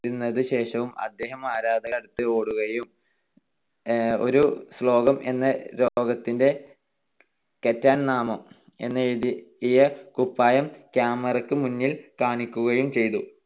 നേടിയതിനു ശേഷവും അദ്ദേഹം ആരാധകരുടെ അടുത്ത് ഓടുകയും ഒരു എന്ന രോഗത്തിന്റെ നാമം എന്നെഴുതിയ കുപ്പായം camera ക്ക് മുന്നിൽ കാണിക്കുകയും ചെയ്തു.